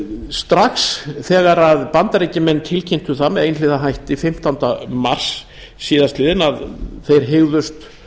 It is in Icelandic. strax þegar bandaríkjamenn tilkynntu það með einhliða hætti fimmtánda mars síðastliðinn að þeir hygðust